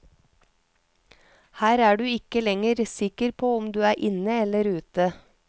Her er du ikke lenger sikker på om du er inne eller ute.